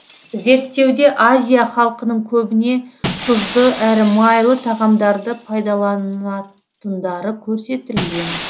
зерттеуде азия халқының көбіне тұзды әрі майлы тағамдарды пайдаланатындары көрсетілген